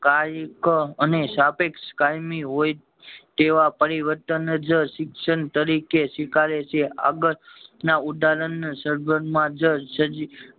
કયારેક અને સાપેક્ષ કાયમી હોય તેવા પરિવર્તન જ શિક્ષણ તરીકે સ્વીકારે છે આગળ ના ઉદાહરણ સરભર માં જ